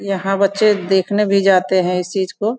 यहाँ बच्चे देखने भी जाते हैं इस चीज को।